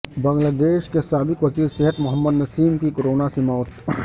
بنگلہ دیش کے سابق وزیر صحت محمد نسیم کی کورونا سے موت